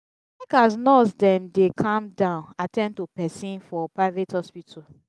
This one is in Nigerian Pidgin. i like as nurse dem dey calm down at ten d to pesin for private hospital.